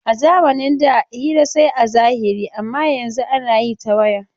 A zamanin da hira sai a zahiri amma yanzun ana yi ta waya.